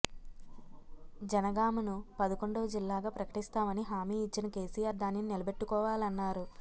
జనగామను పదకొండవజిల్లాగా ప్రకటిస్తామని హామీ ఇచ్చిన కెసిఆర్ దానిని నిలబెట్టుకోవాలన్నారు